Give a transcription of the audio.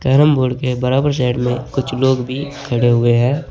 Carrom board के बराबर side में कुछ लोग भी खड़े हुए हैं।